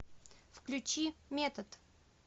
включи метод